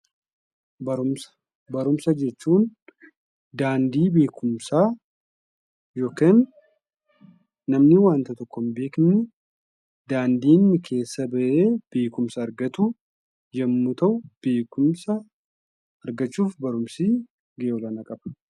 Barumsa Barumsa jechuun daandii beekumsaa yookiin namni wanta tokko hin beekne daandii inni keessa ba'ee beekumsa argatu yommuu ta'u, beekumsa argachuuf barumsi gahee olaanaa qaba.